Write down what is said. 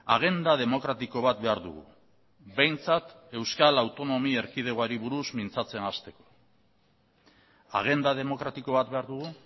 agenda demokratiko bat behar dugu behintzat euskal autonomi erkidegoari buruz mintzatzen hasteko agenda demokratiko bat behar dugu